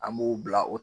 An b'u bila o